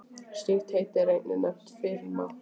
Slíkt heiti er einnig nefnt firma.